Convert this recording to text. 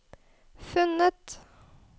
funnet